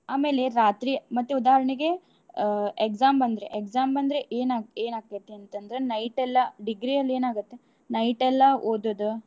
ಆಮೇಲೆ ರಾತ್ರಿ, ಮತ್ತೆ ಉದಾಹರ್ಣೆಗೆ ಆ exam ಬಂದ್ರೆ exam ಬಂದ್ರೆ ಏನ್ ಏನಾಕ್ತತಂತಂದ್ರ night ಎಲ್ಲಾ degree ಯಲ್ ಏನಾಗುತ್ night ಎಲ್ಲಾ ಓದೋದು.